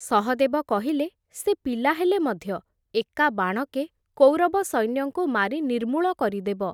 ସହଦେବ କହିଲେ, ସେ ପିଲା ହେଲେ ମଧ୍ୟ, ଏକା ବାଣକେ କୌରବ ସୈନ୍ୟଙ୍କୁ ମାରି ନିର୍ମୂଳ କରିଦେବ ।